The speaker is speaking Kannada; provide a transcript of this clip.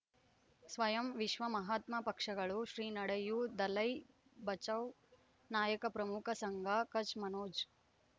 ಸ್ವಯಂ ವಿಶ್ವ ಮಹಾತ್ಮ ಪಕ್ಷಗಳು ಶ್ರೀ ನಡೆಯೂ ದಲೈ ಬಚೌ ನಾಯಕ ಪ್ರಮುಖ ಸಂಘ ಕಚ್ ಮನೋಜ್